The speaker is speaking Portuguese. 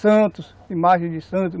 Santos, imagens de Santos.